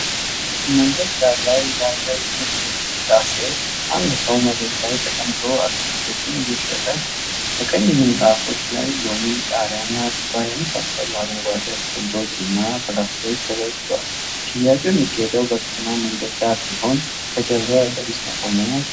መንገድ ዳር ላይ ያለ የንግድ እንቅስቃሴ አንድ ሰው መሬት ላይ ተቀምጦ አትክልቶችን እየሸጠ ነው። በቀይ ምንጣፎች ላይ ሎሚ፣ ቃሪያና ዱባ የመሳሰሉ አረንጓዴ አትክልቶችና ፍራፍሬዎች ተዘርግተዋል። ሽያጩ የሚካሄደው በከተማ መንገድ ዳር ሲሆን ከጀርባው የአውቶቡስ መቆሚያ ይታያል።